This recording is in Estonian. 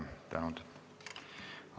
Suur tänu!